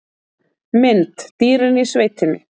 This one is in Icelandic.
Mynd: Dýrin í sveitinni